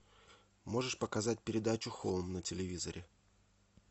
можешь показать передачу хоум на телевизоре